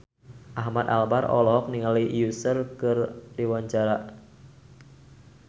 Ahmad Albar olohok ningali Usher keur diwawancara